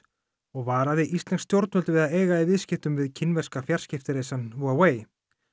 og varaði íslensk stjórnvöld við að eiga í viðskiptum við kínverska fjarskiptarisann Huawei